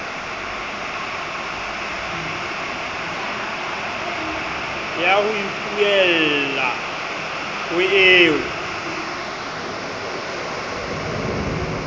ya ho ipuella ho eo